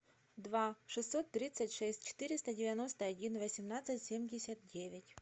два шестьсот тридцать шесть четыреста девяносто один восемнадцать семьдесят девять